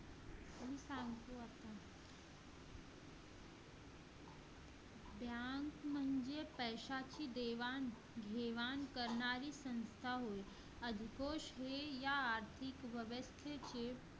पैशाचे देवाण-घेवाण करणारी संस्था आहे ती कशी आर्थिक व्यवस्थेचे